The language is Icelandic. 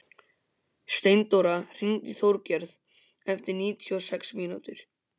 Steindóra, hringdu í Þorgerði eftir níutíu og sex mínútur.